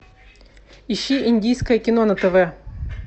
ищи индийское кино на тв